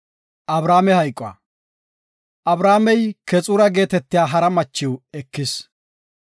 Abrahaamey Keexura geetetiya hara macho ekis.